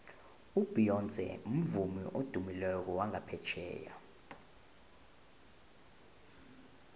ubeyonce mvumi odumileko wangaphetjheya